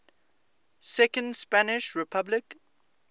second spanish republic